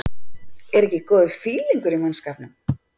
ER EKKI GÓÐUR FÍLINGUR Í MANNSKAPNUM?